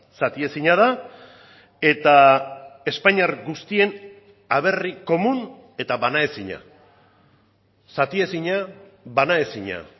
zatiezina da eta espainiar guztien aberri komun eta banaezina zatiezina banaezina